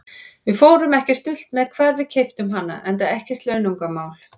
Við fórum ekkert dult með hvar við keyptum hana, enda ekkert launungarmál.